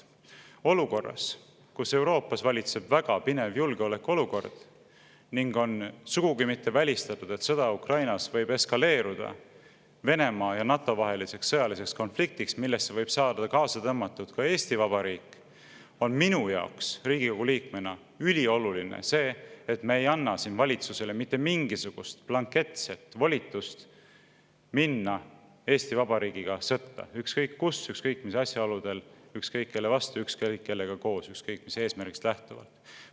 Olukorras, kus Euroopas valitseb väga pinev julgeolekuolukord ning ei ole sugugi välistatud, et sõda Ukrainas võib eskaleeruda Venemaa ja NATO vaheliseks sõjaliseks konfliktiks, millesse võib saada kaasa tõmmatud ka Eesti Vabariik, on minu kui Riigikogu liikme jaoks ülioluline, et me ei anna valitsusele mitte mingisugust blanketset volitust minna Eesti Vabariigiga sõtta – ükskõik kus, ükskõik mis asjaoludel, ükskõik kelle vastu, ükskõik kellega koos, ükskõik mis eesmärgist lähtuvalt.